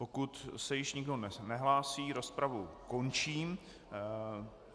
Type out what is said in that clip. Pokud se již nikdo nehlásí, rozpravu končím.